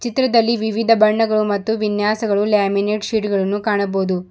ಚಿತ್ರದಲ್ಲಿ ವಿವಿಧ ಬಣ್ಣಗಳು ಮತ್ತು ವಿನ್ಯಾಸಗಳು ಲ್ಯಾಮಿನೇಟ್ ಶೀಟ್ ಗಳನ್ನು ಕಾಣಬಹುದು.